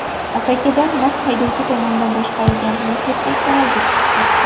Asakada mast haydovchi tomonidan boshqarilgan Lacetti kanalga tushib ketdi.